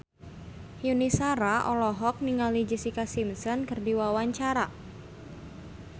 Yuni Shara olohok ningali Jessica Simpson keur diwawancara